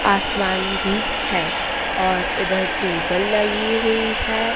आसमान भी है और इधर टेबल लगी हुई है।